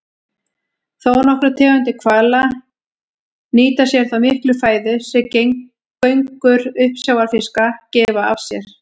Þónokkrar tegundir hvala nýta sér þá miklu fæðu sem göngur uppsjávarfiska gefa af sér.